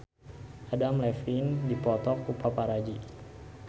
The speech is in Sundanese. Adam Levine dipoto ku paparazi